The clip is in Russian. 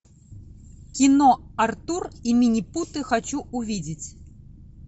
кино артур и минипуты хочу увидеть